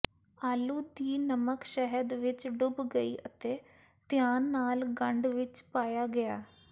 ਆਲੂ ਦੀ ਨਮਕ ਸ਼ਹਿਦ ਵਿਚ ਡੁੱਬ ਗਈ ਅਤੇ ਧਿਆਨ ਨਾਲ ਗੰਢ ਵਿੱਚ ਪਾਇਆ ਗਿਆ